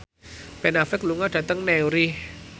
Ben Affleck lunga dhateng Newry